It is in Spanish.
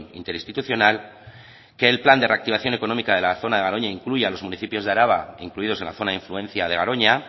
interinstitucional que el plan de reactivación económica de la zona de garoña incluya a los municipios de araba incluidos en la zona de influencia de garoña